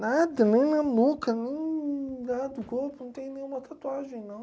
Nada, nem na boca, nem nada do corpo, não tenho nenhuma tatuagem, não.